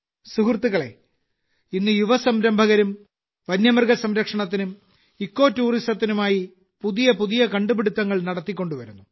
സുഹൃത്തുക്കളേ ഇന്ന് യുവ സംരംഭകരും വന്യമൃഗ സംരക്ഷണത്തിനും ഇക്കോടൂറിസത്തിനുമായി പുതിയ പുതിയ കണ്ടുപിടുത്തങ്ങൾ നടത്തിക്കൊണ്ടുവരുന്നു